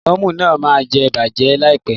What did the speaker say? Lẹ́mọ̀nù náà ma bàjẹ́ láìpẹ́.